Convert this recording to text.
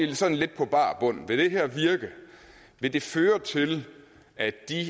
vi sådan lidt på bar bund for vil det her virke vil det føre til at de